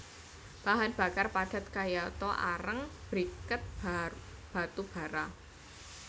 Bahan bakar padat kayata areng briket batu bara